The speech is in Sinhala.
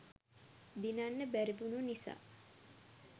දිනන්න බැරිවුනු නිසා